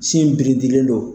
Sin in biridilen don.